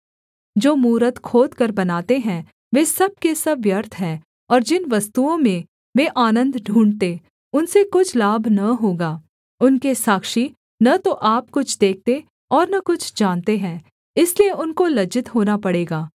जो मूरत खोदकर बनाते हैं वे सब के सब व्यर्थ हैं और जिन वस्तुओं में वे आनन्द ढूँढ़ते उनसे कुछ लाभ न होगा उनके साक्षी न तो आप कुछ देखते और न कुछ जानते हैं इसलिए उनको लज्जित होना पड़ेगा